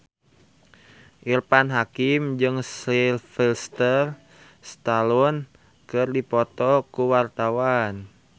Irfan Hakim jeung Sylvester Stallone keur dipoto ku wartawan